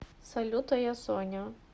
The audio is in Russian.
салют а я соня